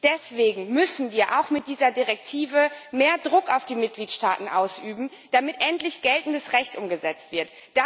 Deswegen müssen wir auch mit dieser Richtlinie mehr Druck auf die Mitgliedstaaten ausüben, damit endlich geltendes Recht umgesetzt wird.